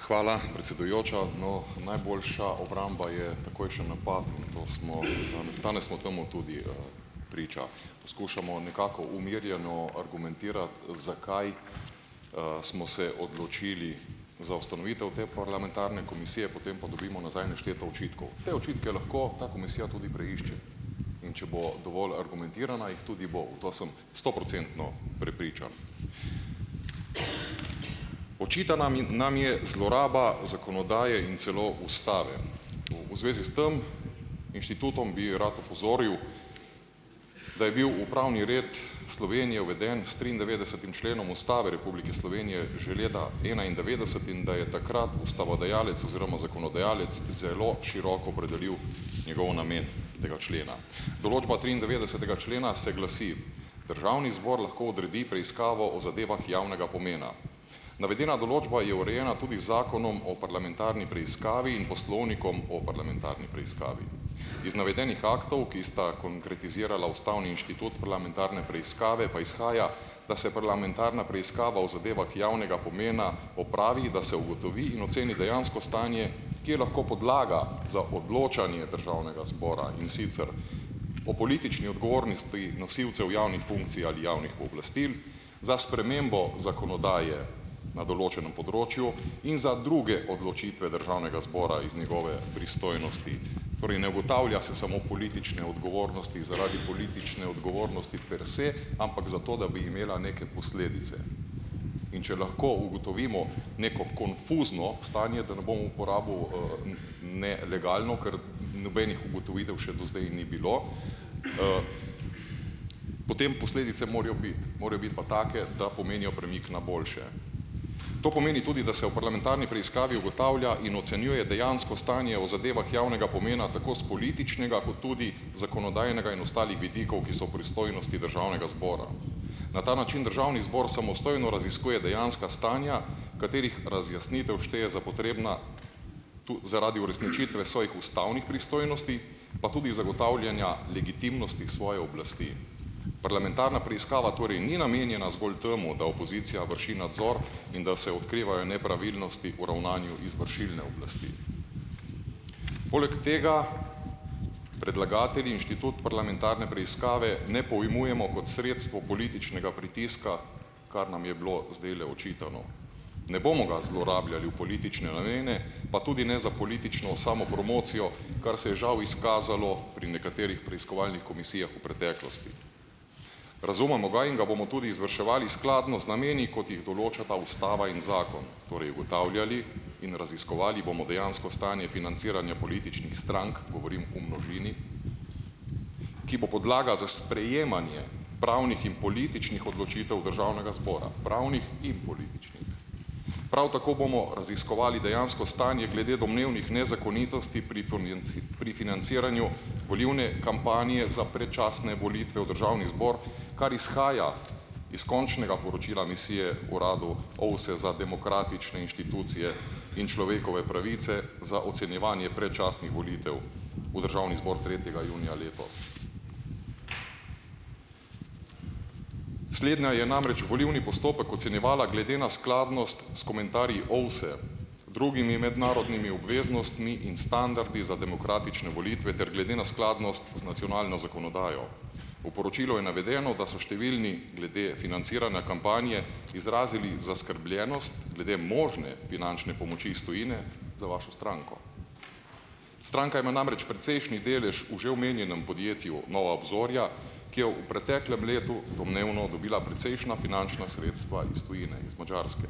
Hvala, predsedujoča. No, najboljša obramba je takojšen napad, in to smo, danes smo temu tudi, priča. Poskušamo nekako umirjeno argumentirati, zakaj, smo se odločili za ustanovitev te parlamentarne komisije, potem pa dobimo nazaj nešteto očitkov. Te očitke lahko ta komisija tudi preišče. In če bo dovolj argumentirana, jih tudi bo. V to sem stoprocentno prepričan. Očitana nam je zloraba zakonodaje in celo ustave. V zvezi s tam inštitutom bi rad opozoril, da je bil upravni red Slovenije uveden s triindevetdesetim členom ustave Republike Slovenije že leta enaindevetdeset in da je takrat ustavodajalec oziroma zakonodajalec zelo široko opredelil njegov namen - tega člena. Določba triindevetdesetega člena se glasi: "Državni zbor lahko odredi preiskavo o zadevah javnega pomena." Navedena določba je urejena tudi z zakonom o parlamentarni preiskavi in poslovnikom o parlamentarni preiskavi. Is navedenih aktov, ki sta konkretizirala ustavni inštitut parlamentarne preiskave, pa izhaja, da se parlamentarna preiskava o zadevah javnega pomena opravi, da se ugotovi in oceni dejansko stanje, ki je lahko podlaga za odločanje državnega zbora, in sicer: "O politični odgovornosti nosilcev javnih funkcij ali javnih pooblastil, za spremembo zakonodaje na določenem področju in za druge odločitve državnega zbora iz njegove pristojnosti." Torej, ne ugotavlja se samo politične odgovornosti, zaradi politične odgovornosti per se, ampak zato, da bi imela neke posledice. In če lahko ugotovimo neko konfuzno stanje, da ne bom uporabil, nelegalno, ker nobenih ugotovitev še do zdaj ni bilo, potem posledice morajo biti. Morajo biti pa take, da pomenijo premik na boljše. To pomeni tudi, da se v parlamentarni preiskavi ugotavlja in ocenjuje dejansko stanje o zadevah javnega pomena tako s političnega ko tudi zakonodajnega in ostalih vidikov, ki so v pristojnosti državnega zbora. Na ta način državni zbor samostojno raziskuje dejanska stanja, katerih razjasnitev šteje za potrebna zaradi uresničitve svojih ustavnih pristojnosti pa tudi zagotavljanja legitimnosti svoje oblasti. Parlamentarna preiskava torej ni namenjena zgolj temu, da opozicija vrši nadzor in da se odkrivajo nepravilnosti v ravnanju izvršilne oblasti. Poleg tega predlagatelji inštitut parlamentarne preiskave ne pojmujemo kot sredstvo političnega pritiska, kar nam je bilo zdajle očitano. Ne bomo ga zlorabljali v politične namene, pa tudi ne za politično samopromocijo, kar se je žal izkazalo pri nekaterih preiskovalnih komisijah v preteklosti. Razumemo ga in ga bomo tudi izvrševali skladno z nameni, kot jih določata ustava in zakon. Torej, ugotavljali in raziskovali bomo dejansko stanje financiranja političnih strank - govorim v množini - ki bo podlaga za sprejemanje pravnih in političnih odločitev državnega zbora. Pravnih in političnih. Prav tako bomo raziskovali dejansko stanje glede domnevnih nezakonitosti pri pri financiranju volilne kampanje za predčasne volitve v državni zbor, kar izhaja iz končnega poročila misije uradu OVSE za demokratične inštitucije in človekove pravice za ocenjevanje predčasnih volitev v državni zbor tretjega junija letos. Slednja je namreč volilni postopek ocenjevala glede na skladnost s komentarji OVSE, drugimi mednarodnimi obveznostmi in standardi za demokratične volitve ter glede na skladnost z nacionalno zakonodajo. V poročilu je navedeno, da so številni glede financiranja kampanje izrazili zaskrbljenost glede možne finančne pomoči iz tujine za vašo stranko. Stranka ima namreč precejšnji delež v že omenjenem podjetju Nova obzorja, ki je v preteklem letu domnevno dobila precejšnja finančna sredstva iz tujine. Iz Madžarske.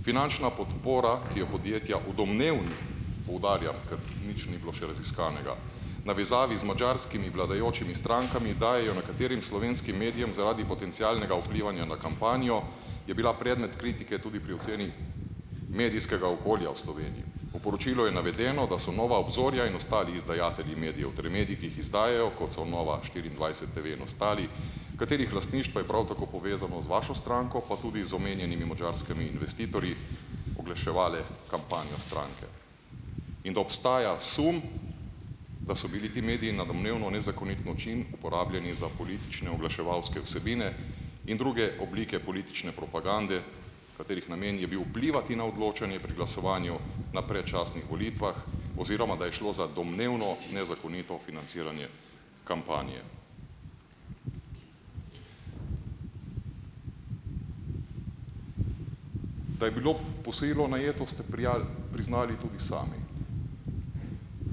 Finančna podpora, ki jo podjetja v domnevnih - poudarjam, ker nič ni bilo še raziskanega - v navezavi z madžarskimi vladajočimi strankami dajejo nekaterim slovenskim medijem zaradi potencialnega vplivanja na kampanjo - je bila predmet kritike tudi pri oceni medijskega okolja v Sloveniji. V poročilu je navedeno, da so Nova obzorja in ostali izdajatelji medijev, torej mediji, ki jih izdajajo, kot so Nova štiriindvajset TV in ostali, katerih lastništvo je prav tako povezano z vašo stranko pa tudi z omenjenimi madžarskimi investitorji, oglaševale kampanjo stranke. In da obstaja sum, da so bili ti mediji na domnevno nezakonit način uporabljeni za politične oglaševalske vsebine in druge oblike politične propagande, katerih namen je bil vplivati na odločanje pri glasovanju na predčasnih volitvah oziroma da je šlo za domnevno nezakonito financiranje kampanje. Da je bilo posojilo najeto, ste priznali tudi sami.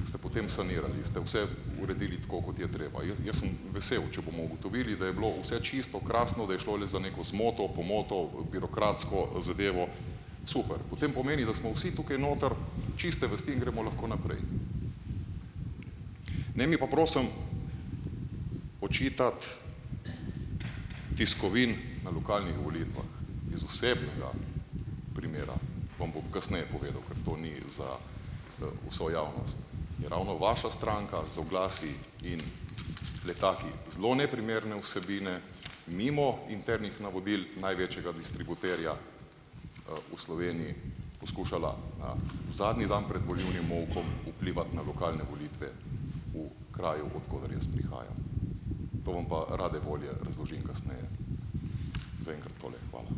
Ste potem sanirali. Ste vse uredili tako, kot je treba. Jaz, jaz sem vesel. Če bomo ugotovili, da je bilo vse čisto, krasno, da je šlo le za neko zmoto, pomoto, birokratsko zadevo - super. Potem pomeni, da smo vsi tukaj noter čiste vesti in gremo lahko naprej. Ne mi pa, prosim, očitati, tiskovin na lokalnih volitvah. Iz osebnega primera. Vam bom kasneje povedal. Ker to ni za, vso javnost. Je ravno vaša stranka z oglasi in letaki zelo neprimerne vsebine mimo internih navodil največjega distributerja, v Sloveniji poskušala, zadnji dan pred volilnim molkom vplivati na lokalne volitve v kraju, od koder jaz prihajam. To vam pa rade volje razložim kasneje. Zaenkrat tole. Hvala.